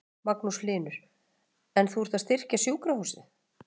Magnús Hlynur: En þú ert að styrkja sjúkrahúsið?